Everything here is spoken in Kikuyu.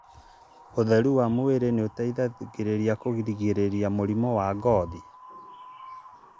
ũtheri wa mwĩrĩ nĩũteithagia kũgirĩrĩria mĩrimũ ya ngothi